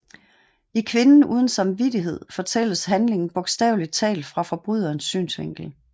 I Kvinden uden samvittighed fortælles handlingen bogstaveligt talt fra forbryderens synsvinkel